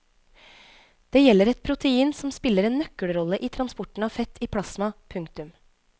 Det gjelder et protein som spiller en nøkkelrolle i transporten av fett i plasma. punktum